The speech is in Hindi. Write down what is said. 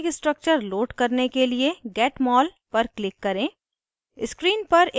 panel पर रासायनिक structure load करने के लिए get mol पर click करें